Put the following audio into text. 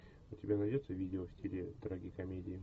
у тебя найдется видео в стиле трагикомедии